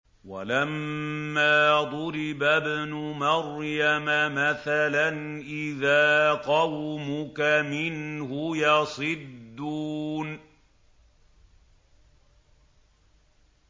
۞ وَلَمَّا ضُرِبَ ابْنُ مَرْيَمَ مَثَلًا إِذَا قَوْمُكَ مِنْهُ يَصِدُّونَ